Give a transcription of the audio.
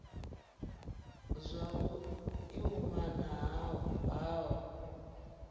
zwavhu i umana ha hoho